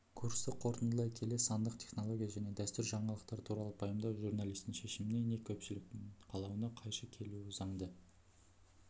курсты қорытындылай келе сандық технология және дәстүр жаңалықтар туралы пайымдау журналистің шешіміне не көпшіліктің қалауына қайшы келуі заңды